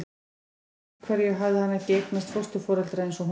Út af hverju hafði hann ekki eignast fósturforeldra eins og hún?